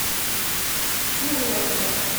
курлово